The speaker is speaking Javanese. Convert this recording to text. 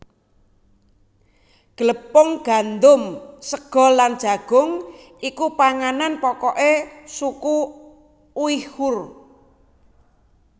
Glepung gandum sega lan jagung iku panganan pokoke suku Uighur